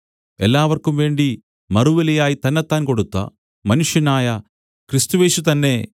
എല്ലാവർക്കുംവേണ്ടി മറുവിലയായി തന്നെത്താൻ കൊടുത്ത മനുഷ്യനായ ക്രിസ്തുയേശു തന്നെ